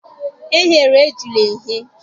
E ghere ejula eghe.